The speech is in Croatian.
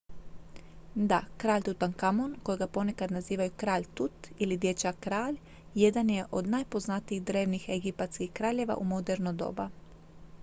"da! kralj tutankamon kojega ponekad nazivaju "kralj tut" ili "dječak-kralj" jedan je od najpoznatijih drevnih egipatskih kraljeva u moderno doba.